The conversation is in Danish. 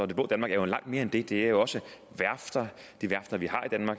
det blå danmark er jo langt mere end det det er jo også værfterne de værfter vi